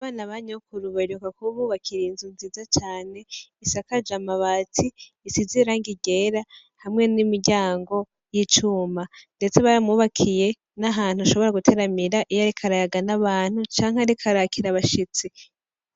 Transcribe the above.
Abana ba nyokuru baheruka kububakira inzu nziza cane , isakaje amabati isize irangi ryera hamwe n'imiryango yicuma ndetse baramwubakiye N'ahantu ashobora giteramira iyo ariko arayaga n'abantu canke ariko arakira abashitsi.